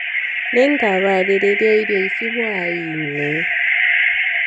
nĩngaharĩrĩa irio cia hwainĩ